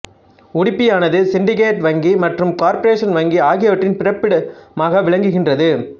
உடுப்பியானது syndicate வங்கி மற்றும் corporation வங்கி ஆகியவற்றின் பிறப்பிடமாக விளங்குகின்றது